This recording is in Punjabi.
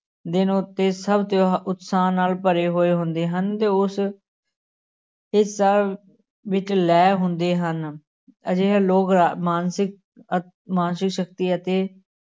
ਦਿਨ ਉੱਤੇ ਸਭ ਤਿਉ ਉਤਸ਼ਾਹ ਨਾਲ ਭਰੇ ਹੋਏ ਹੁੰਦੇ ਹਨ, ਤੇ ਉਸ ਹਿੱਸਾ ਵਿੱਚ ਲੈ ਹੁੰਦੇ ਹਨ, ਅਜਿਹੇ ਲੋਕ ਮਾਨਸਿਕ ਮਾਨਸਿਕ ਸ਼ਕਤੀ ਅਤੇ